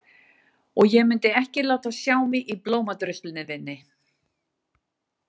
Og ég myndi ekki láta sjá mig í blómadruslunni þinni.